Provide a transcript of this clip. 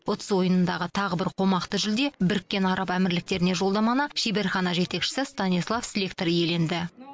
ұтыс ойынындағы тағы бір қомақты жүлде біріккен араб әмірліктеріне жолдаманы шеберхана жетекшісі станислав слектор иеленді